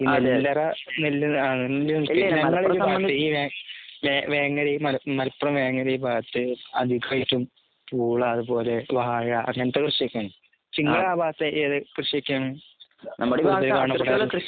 വേ വേങ്ങര ഈ മലപ്പുറം വേങ്ങര ഈ ഭാഗത്ത് അധികമായിട്ടും അതുപോലെ വാഴ അങ്ങനത്തെ കൃഷിയൊക്കെയാണ്. നിങ്ങടെ ആ ഭാഗത്ത് ഏതൊക്കെ കൃഷിയൊക്കെയാണ്?